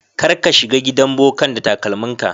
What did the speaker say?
Kar ka shiga gidan bokan da takalmin ka.